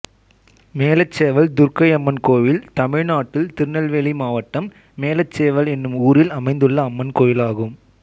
மேலச்செவல் துர்க்கையம்மன் கோயில் தமிழ்நாட்டில் திருநெல்வேலி மாவட்டம் மேலச்செவல் என்னும் ஊரில் அமைந்துள்ள அம்மன் கோயிலாகும்